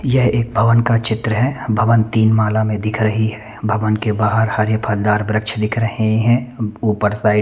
यह एक भवन का चित्र है भवन तीन माला में दिख रही है भवन के बाहर हरे फलदार वृक्ष दिख रहे है उपर साइड --